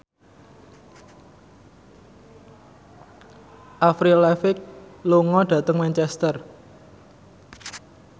Avril Lavigne lunga dhateng Manchester